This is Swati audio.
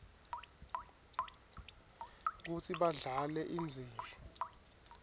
kutsi badlale indzima